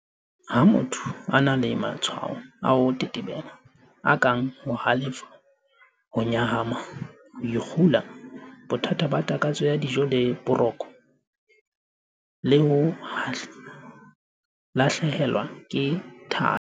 Ha motho a na le matshwao a ho tetebela, a kang ho halefa, ho nyahama, ho ikgula, bothata ba takatso ya dijo le ba boroko, le ho lahlehelwa ke thahasello